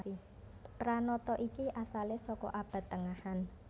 Pranata iki asalé saka Abad Tengahan